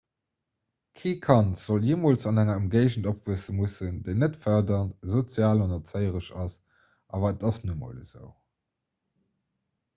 kee kand sollt jeemools an enger ëmgéigend opwuesse mussen déi net fërderend sozial an erzéieresch ass awer et ass nun emol esou